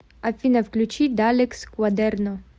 афина включи далекс квадерно